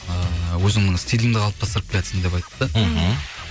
ыыы өзіңнің стиліңді қалыптастырып келеатсың деп айтты мхм